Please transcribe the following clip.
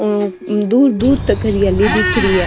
दूर दूर तक हरियाली दिख रही है।